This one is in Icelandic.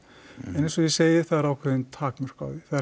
eins og ég segi það eru ákveðin takmörk á því